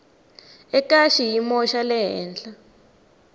eka xiyimo xa le henhla